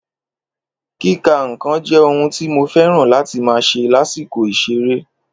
Kíka n'kan jé ohun tí mo féràn láti ma ṣe lásìkò ìseré